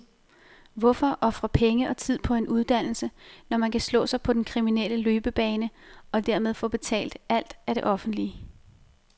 Hvorfor ofre penge og tid på en uddannelse, når man kan slå sig på den kriminelle løbebane og dermed få betalt alt af det offentlige.